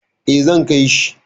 Eh, zan kai shi.